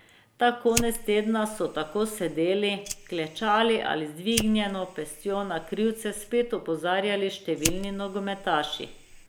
Ta konec tedna so tako sedeli, klečali ali z dvignjeno pestjo na krivice spet opozarjali številni nogometaši.